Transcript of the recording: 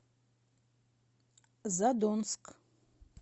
задонск